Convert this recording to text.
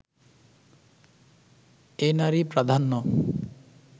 এ নারী-প্রাধান্য